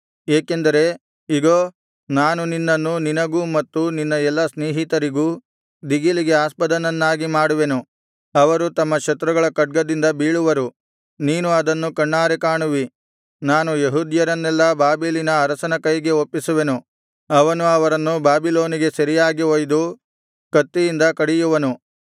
ಏಕೆಂದರೆ ಇಗೋ ನಾನು ನಿನ್ನನ್ನು ನಿನಗೂ ಮತ್ತು ನಿನ್ನ ಎಲ್ಲಾ ಸ್ನೇಹಿತರಿಗೂ ದಿಗಿಲಿಗಿ ಆಸ್ಪದನನ್ನಾಗಿ ಮಾಡುವೆನು ಅವರು ತಮ್ಮ ಶತ್ರುಗಳ ಖಡ್ಗದಿಂದ ಬೀಳುವರು ನೀನು ಅದನ್ನು ಕಣ್ಣಾರೆ ಕಾಣುವಿ ನಾನು ಯೆಹೂದ್ಯರನ್ನೆಲ್ಲಾ ಬಾಬೆಲಿನ ಅರಸನ ಕೈಗೆ ಒಪ್ಪಿಸುವೆನು ಅವನು ಅವರನ್ನು ಬಾಬಿಲೋನಿಗೆ ಸೆರೆಯಾಗಿ ಒಯ್ದು ಕತ್ತಿಯಿಂದ ಕಡಿಯುವನು